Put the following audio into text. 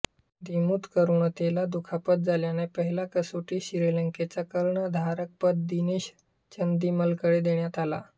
दिमुथ करुणारत्नेला दुखापत झाल्याने पहिला कसोटीत श्रीलंकेचे कर्णधारपद दिनेश चंदिमलकडे देण्यात आले